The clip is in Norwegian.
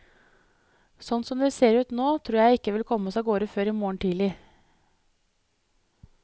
Sånn som det ser ut nå, tror jeg ikke vi kommer oss av gårde før i morgen tidlig.